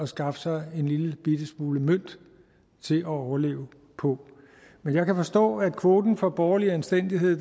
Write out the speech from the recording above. skaffe sig en lillebitte smule mønt til at overleve på men jeg kan forstå at kvoten for borgerlig anstændighed